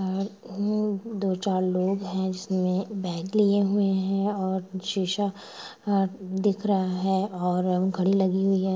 ओर उम दो चार लोग है जिसमे बैग लिए हुए है और शीशा अ दिख रहा है और घड़ी लगी हुई है।